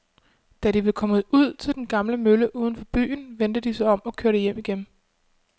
Da de var kommet ud til den gamle mølle uden for byen, vendte de om og kørte hjem igen.